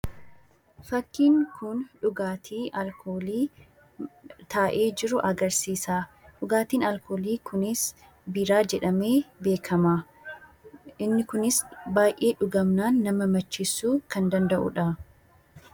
Fakkiin kun dhugaatii alkoolii taa'ee jiru agarsiisa. Dhugaatiin alkoolii kunis Biiraa jedhamee beekama. Inni kunis baay'ee dhugamnaan nama macheessuu kan danda'uu dha.